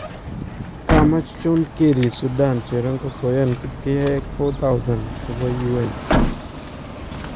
Kamach John Kerry Sudan cheroonko koyaan kipkeyayeek 4000 chebo UN .